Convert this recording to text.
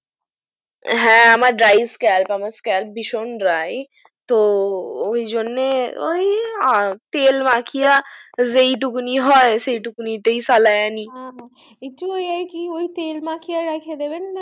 হ্যা আমার dry sclap ভিশন dry তো ওই জন্য ওই তেল মাখিয়ে সেই টুকুনই হয় সেই টুকুনিতে ফালাইয়া নি একটু ওই কি ওই তেল মাখিয়ে রেখে দিবেন